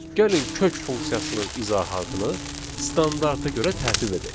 Gəlin kök funksiyasının izahatını standarta görə tərtib edək.